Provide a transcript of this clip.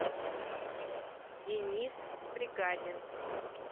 денис бригадин